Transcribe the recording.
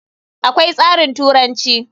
Akwai tsarin turanci.